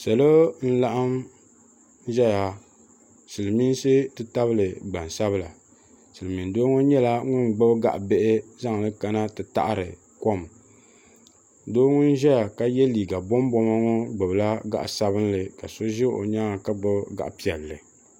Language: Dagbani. Salo n laɣim ʒɛya silimiinsi titabili gbansabla Silimiin doo ŋɔ nyɛla ŋun gbibi gaɣa bihi zaŋli kana ti taɣari kom doo ŋun ʒɛya ka ye liiga bomboma ŋɔ gbibila gaɣa sabinli ka so ʒɛ o nyaanga ka gbibi gaɣa piɛlli.